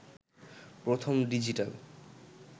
প্রথম ডিজিটাল